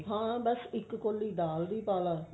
ਹਾਂ ਬਸ ਇੱਕ ਕੋਲੀ ਦਾਲ ਦੀ ਪਾਲਾ